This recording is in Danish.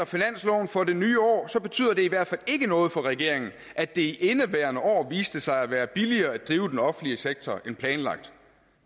finanslov for det nye år betyder det i hvert fald ikke noget for regeringen at det i indeværende år viste sig at være billigere at drive den offentlige sektor end planlagt